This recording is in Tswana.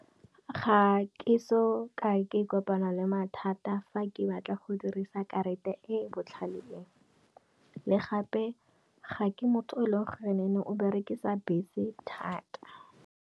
Ga ke soka ke kopana le mathata fa ke batla go dirisa karata e e botlhale, le gape ga ke motho o e leng gore o berekisa bese thata.